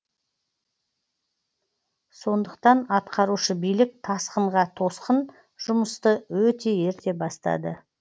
сондықтан атқарушы билік тасқынға тосқын жұмысты өте ерте бастады